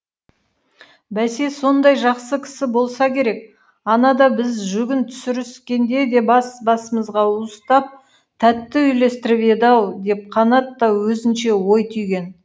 бәсе сондай жақсы кісі болса керек анада біз жүгін түсіріскенде де бас басымызға уыстап тәтті үлестіріп еді ау деп қанат та өзінше ой түйген